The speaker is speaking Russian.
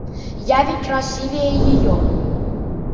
я ведь красивее её